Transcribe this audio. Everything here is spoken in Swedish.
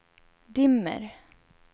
dimmer